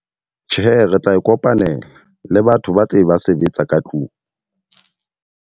Tjhe, re tla e kopanela le batho ba tle ba sebetsa ka tlung.